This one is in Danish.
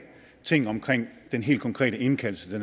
ting omkring den helt konkrete indkaldelse